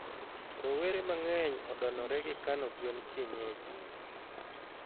rowere mangeny odonore gikano gwen kienyeji